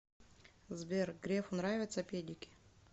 сбер грефу нравятся педики